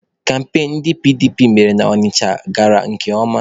Kampain ndị PDP mere na Ọnịcha gara nke ọma